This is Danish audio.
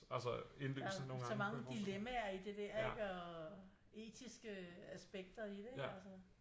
Der så mange dilemmaer i det der ikke og øh etiske øh aspekter i det ikke altså